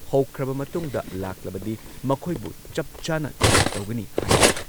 ꯍꯧꯈ꯭ꯔꯕ ꯃꯇꯨꯡꯗ ꯂꯥꯛꯂꯕꯗꯤ ꯃꯈꯣꯏꯕꯨ ꯆꯞ ꯆꯥꯅ ꯆꯦꯛ ꯇꯧꯒꯅꯤ ꯍꯥꯏꯔꯤ ꯫